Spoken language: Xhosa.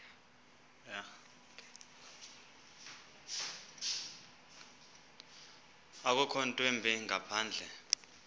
akukho ntwimbi ngaphandle